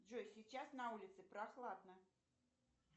джой сейчас на улице прохладно